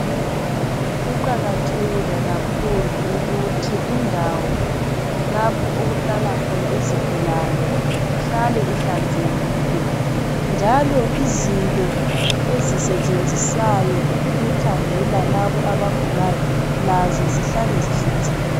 Kuqakathekile kakhulu ukuthi indawo lapho okuhlala khona izigulane ihlale ihlanzekile. Njalo izinto ezisetshenziswayo ukukhangela labo abagulayo lazo zihlale zihlanzekile.